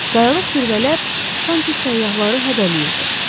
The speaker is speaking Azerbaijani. Qayalıq zirvələr sanki səyyahları hədələyirdi.